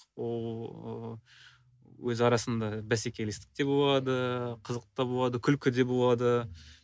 ол ыыы өз арасында бәсекелестік те болады қызық та болады күлкі де болады